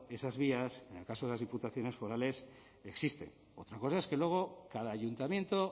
esas vías en el caso de las diputaciones forales existen otra cosa es que luego cada ayuntamiento